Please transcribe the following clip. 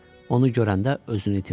Onu görəndə özünü itirdi.